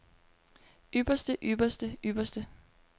ypperste ypperste ypperste